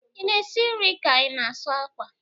I na-esi nri ka ị na-asụ akwa?